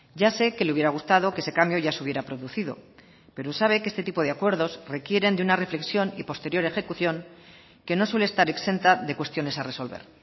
ya sé que le hubiera gustado que ese cambio ya se hubiera producido pero sabe que este tipo de acuerdos requieren de una reflexión y posterior ejecución que no suele estar exenta de cuestiones a resolver